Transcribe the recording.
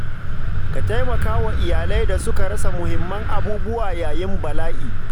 Ka taimaka wa iyalai da suka rasa muhimman abubuwa yayin bala’i.